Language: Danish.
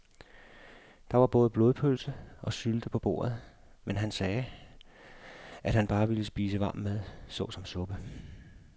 Der var både blodpølse og sylte på bordet, men han sagde, at han bare ville spise varm mad såsom suppe.